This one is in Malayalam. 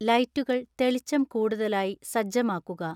ലൈറ്റുകൾ തെളിച്ചം കൂടുതലായി സജ്ജമാക്കുക